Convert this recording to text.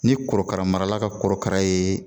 Ni korokara marala ka korokara ye